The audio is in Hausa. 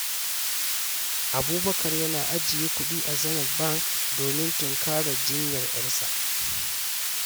Abubakar yana ajiye kudi a Zenith Bank domin tunkarar jinyar ƴarsa.